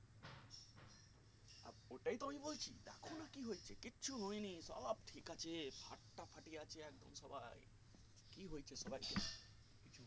ওটাই তো আমি বলছি দেখো না কি হয়েছে কিছু হয়নি সব ঠিক আছে সব ফাটাফাটি আছে একদম সবাই কি হয়েছে সবাই কে